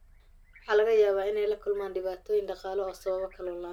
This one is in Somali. Waxa laga yaabaa inay la kulmaan dhibaatooyin dhaqaale oo ay sababto kalluun la'aan.